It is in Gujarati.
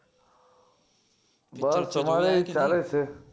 બસ અમારેય ચાલે છે